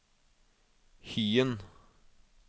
Hyen